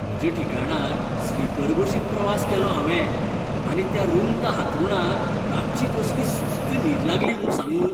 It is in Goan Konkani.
म्हज्या ठिकाणार स्लीपर बशीन प्रवास केलो हांवें आनी त्या रुंद हांतरूणार रातची कसली सुस्त न्हीद लागली म्हूण सांगूं!